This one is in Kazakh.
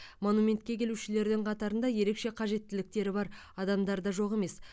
монументке келушілердің қатарында ерекше қажеттіліктері бар адамдар да жоқ емес